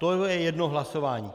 To je jedno hlasování.